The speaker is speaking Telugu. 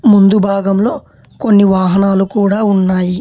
ముందు భాగంలో కొన్ని వాహనాలు కూడా ఉన్నాయి.